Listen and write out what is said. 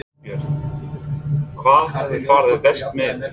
Björn: Hvað hefur farið verst með ykkur?